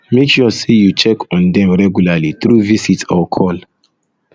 make sure say you check on them regularly through visit or call